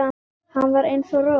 Hann var eins og rola.